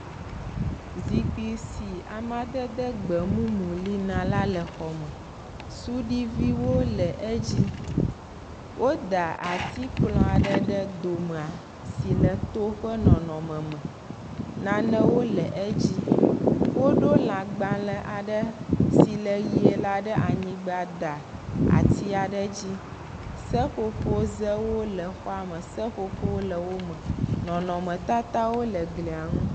Zikpi si amedede gbemumu li na la le xɔme. Suɖiviwo le edzi. Woda atikplɔ̃ ɖe ɖe domea. Si le to ƒe nɔnɔme me, Nanewo le edzi. Woɖo lãgbalẽ aɖe si le ʋie la ɖe anyigba da atia ɖe dzi. Seƒoƒozewo le xɔame. Seƒoƒo le wome. Nɔnɔmetatawo le glia ŋu.